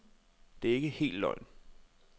Det er ikke helt løgn.